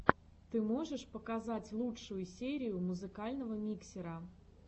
ты можешь показать лучшую серию музыкального миксера